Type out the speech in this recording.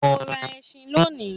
Mo ń rà ẹṣin lóni.